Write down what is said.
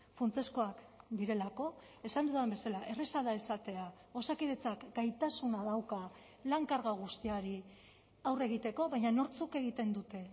funtsezkoak direlako esan dudan bezala erraza da esatea osakidetzak gaitasuna dauka lan karga guztiari aurre egiteko baina nortzuk egiten dute